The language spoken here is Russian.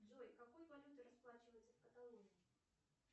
джой какой валютой расплачиваются в каталонии